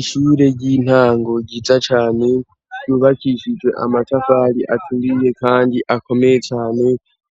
Ishure ry'intango riza cane yubakishijwe amatafari aturiye, kandi akomeye cane